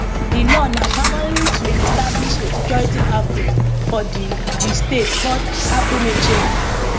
di law na primarily to establish a security outfit for di di state called agunechemba